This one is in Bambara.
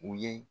U ye